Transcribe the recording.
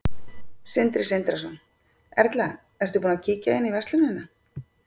Sindri Sindrason: Erla, ertu búin að kíkja inn í verslunina?